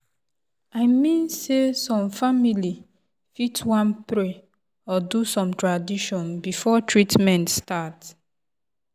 i mean sey some family fit wan pray or do some tradition before treatment start.